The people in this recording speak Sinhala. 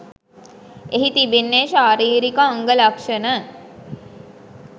එහි තිබෙන්නේ ශාරීරික අංග ලක්ෂණ